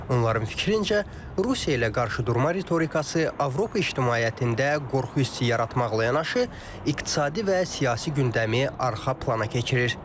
Onların fikrincə, Rusiya ilə qarşıdurma ritorikası Avropa ictimaiyyətində qorxu hissi yaratmaqla yanaşı, iqtisadi və siyasi gündəmi arxa plana keçirir.